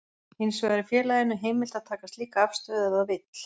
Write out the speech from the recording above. Hins vegar er félaginu heimilt að taka slíka afstöðu ef það vill.